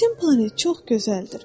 Sizin planet çox gözəldir.